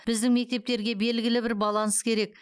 біздің мектептерге белгілі бір баланс керек